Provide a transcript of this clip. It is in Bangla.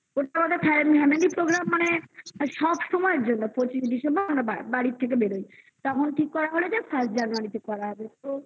family program মানে সব সময়ের জন্য পচিশে December আমরা বাড়ি থেকে বেরই তেমন ঠিক করা হলো first January -তে বেরোনো হবে